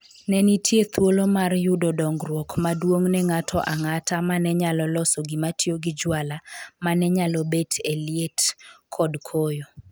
Ne nitie thuolo mar yudo dongruok maduong’ ne ng’ato ang’ata ma ne nyalo loso gimatiyo gi juala ma ne nyalo bet e liet kod koyo.